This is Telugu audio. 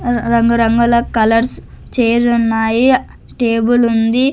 అర్ రంగు రంగుల కలర్స్ చైర్లున్నాయి ఉన్నాయి టేబుల్ ఉంది.